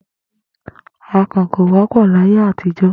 Àkan kò wó̩pò̩ láyé àtijó̩.